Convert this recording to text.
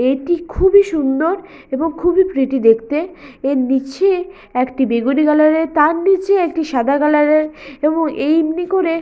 এটি খুবই সুন্দর এবং খুবই প্রীটি দেখতে এর নিচে একটি বেগুনি কালার -এর তার নিচে একটি সাদা কালার -এর এবং এই এমনি করে--